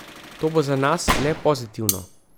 To bo za nas le pozitivno.